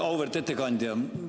Auväärt ettekandja!